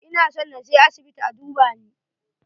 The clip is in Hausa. Ina son na je asibiit a duba ni.